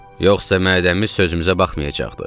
Yoxsa mədəmiz sözümüzə baxmayacaqdı.